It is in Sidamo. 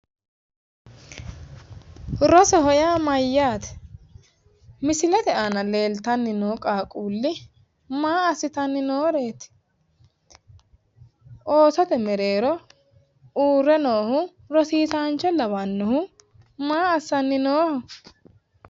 rosoho yaa mayyaate? misilete aana leeltanni noo qaaqquulli maa assitanni nooreeti? oosote mereero uurre noohu rosiisaancho lawannohu maa assanni nooho?